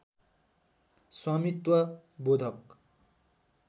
स्वामित्व बोधक